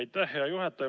Aitäh, hea juhataja!